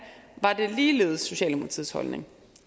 var det ligeledes socialdemokratiets holdning